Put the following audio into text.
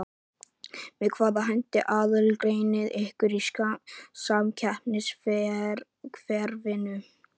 Með hvaða hætti aðgreinið þið ykkur í samkeppnisumhverfinu?